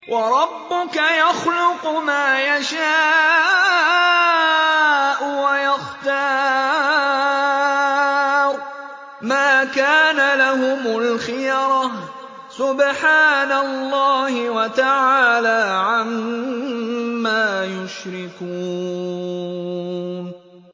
وَرَبُّكَ يَخْلُقُ مَا يَشَاءُ وَيَخْتَارُ ۗ مَا كَانَ لَهُمُ الْخِيَرَةُ ۚ سُبْحَانَ اللَّهِ وَتَعَالَىٰ عَمَّا يُشْرِكُونَ